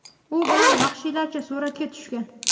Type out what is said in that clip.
u bilan vahshiylarcha suratga tushgan.